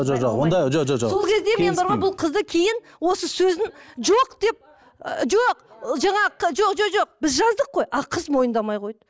жо жоқ онда жо жо жоқ сол кезде мен бар ғой бұл қызды кейін осы сөзін жоқ деп ы жоқ жаңағы жоқ жоқ жоқ біз жаздық қой ал қыз мойындамай қойды